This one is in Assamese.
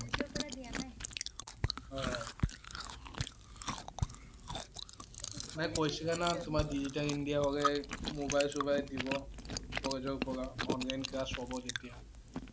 অ' না কৈছিল না তোমাৰ digital India হলে mobile sobile দিব, কলেজৰ পৰা, online class হব যেতিয়া